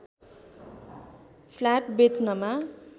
flat बेच्नमा